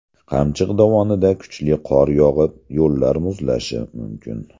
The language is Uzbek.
Qamchiq dovonida kuchli qor yog‘ib, yo‘llar muzlashi mumkin .